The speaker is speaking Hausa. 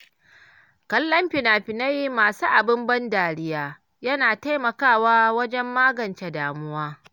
Kallon fina-finai masu abin ban dariya yana taimakawa wajen magance damuwa.